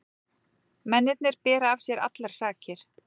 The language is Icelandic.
Mennirnir bera af sér allar sakir